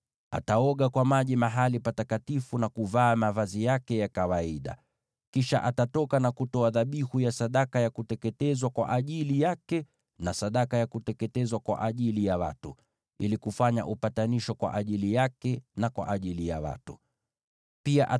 Ataoga kwa maji katika mahali patakatifu na kuvaa mavazi yake ya kawaida. Kisha atatoka na kutoa dhabihu ya sadaka ya kuteketezwa kwa ajili yake na sadaka ya kuteketezwa kwa ajili ya watu, ili kufanya upatanisho kwa ajili yake mwenyewe, na kwa ajili ya watu.